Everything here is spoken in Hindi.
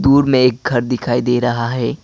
दूर में एक घर दिखाई दे रहा है।